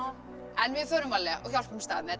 en við förum varlega og hjálpumst að með þetta